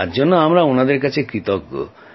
তার জন্য আমরা ওঁদের কাছে কৃতজ্ঞ